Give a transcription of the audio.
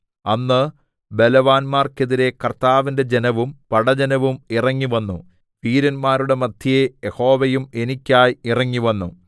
അന്ന് ബലവാന്മാർക്കെതിരെ കർത്താവിന്റെ ജനവും പടജ്ജനവും ഇറങ്ങിവന്നു വീരന്മാരുടെ മദ്ധ്യേ യഹോവയും എനിക്കായി ഇറങ്ങിവന്നു